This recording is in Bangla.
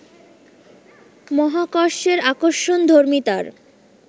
মহাকর্ষের আকর্ষণধর্মিতার